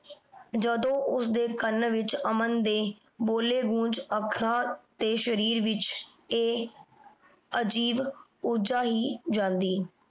ਜਦੋਂ ਓਸਦੀ ਕਾਨ ਵਿਚ ਅਮਨ ਦੇ ਬੋਲੀ ਗੂੰਜ ਆਖਾਂ ਤੇ ਸ਼ਰੀਰ ਵਿਚ ਅਜੀਬ ਉਰਜਾ ਆਈ ਜਾਂਦੀ